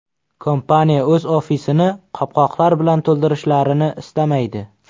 Kompaniya o‘z ofisini qopqoqlar bilan to‘ldirishlarini istamaydi.